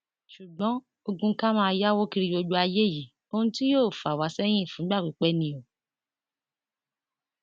ṣùgbọn ogun ká máa yáwó kiri gbogbo ayé yìí ohun tí yóò fà wá sẹyìn fúngbà pípẹ ni o